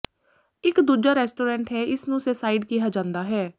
ਇਕ ਦੂਜਾ ਰੈਸਟੋਰੈਂਟ ਹੈ ਇਸ ਨੂੰ ਸੈਸਾਈਡ ਕਿਹਾ ਜਾਂਦਾ ਹੈ